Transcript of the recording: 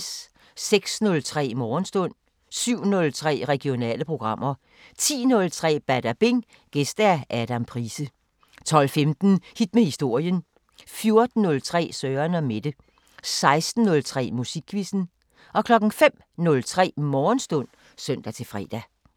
06:03: Morgenstund 07:03: Regionale programmer 10:03: Badabing: Gæst Adam Price 12:15: Hit med historien 14:03: Søren & Mette 16:03: Musikquizzen 05:03: Morgenstund (søn-fre)